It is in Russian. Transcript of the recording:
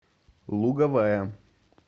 луговая